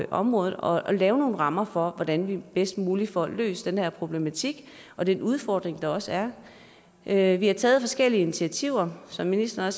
området og lave nogle rammer for hvordan vi bedst muligt får løst den her problematik og den udfordring der også er her vi har taget forskellige initiativer som ministeren